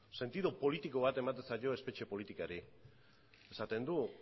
sentidu politiko bat ematen zaio espetxe politikari esaten du